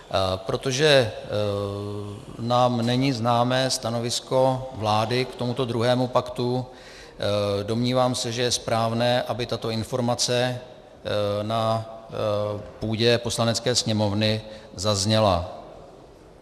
Protože nám není známé stanovisko vlády k tomuto druhému paktu, domnívám se, že je správné, aby tato informace na půdě Poslanecké sněmovny zazněla.